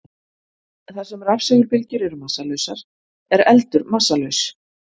Þar sem rafsegulbylgjur eru massalausar er eldur massalaus.